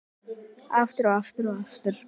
Aftur, og aftur, og aftur.